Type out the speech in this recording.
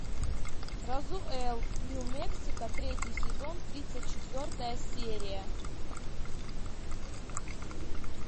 розуэлл нью мексико третий сезон тридцать четвертая серия